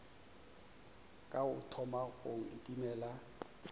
ka o thoma go nkimela